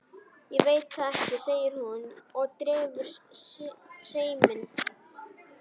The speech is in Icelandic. Ég veit það ekki, segir hún og dregur seiminn.